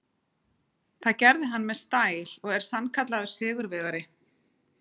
Það gerði hann með stæl og er sannkallaður sigurvegari.